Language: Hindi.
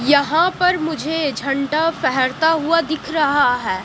यहां पर मुझे झंडा फेहरता हुआ दिख रहा है।